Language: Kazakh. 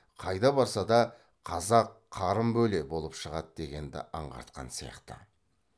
қайда барса да қазақ қарын бөле болып шығады дегенді аңғартқан сияқты